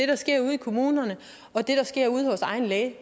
der sker ude i kommunerne og det der sker ude hos egen læge